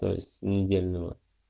то есть недельного